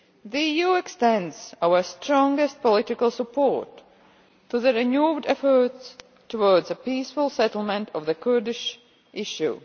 The EU extends its strongest political support to the renewed efforts for a peaceful settlement of the Kurdish issue.